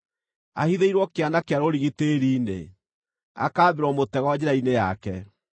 Ahithĩirwo kĩana kĩa rũrigi tĩĩri-inĩ, akaambĩrwo mũtego njĩra-inĩ yake.